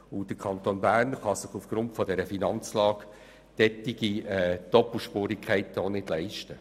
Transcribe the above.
Zudem kann sich der Kanton Bern aufgrund seiner Finanzlage solche Doppelspurigkeiten auch nicht leisten.